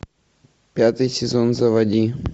пятый сезон заводи